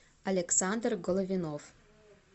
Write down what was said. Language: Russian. александр головинов